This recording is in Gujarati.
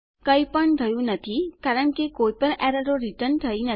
કઈ પણ થયું નથી કારણ કે કોઈ પણ એરરો રીટર્ન નથી થઇ